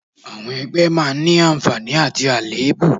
Àwọn ẹgbẹ́ a máa ní àǹfààní àti àléébù